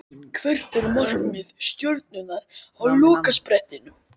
Hvert er markmið Stjörnunnar á lokasprettinum?